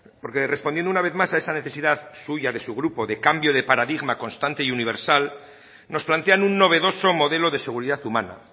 porque respondiendo una vez más a esa necesidad suya de su grupo de cambio de paradigma constante y universal nos plantean un novedoso modelo de seguridad humana